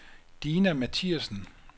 Dina Mathiassen